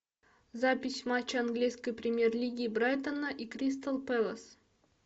запись матча английской премьер лиги брайтона и кристал пэлас